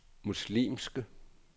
muslimske